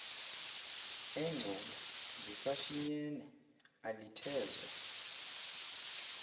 engcobo lisashinyene alithezwa